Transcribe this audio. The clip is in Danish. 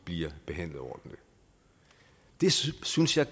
bliver behandlet ordentligt det synes synes jeg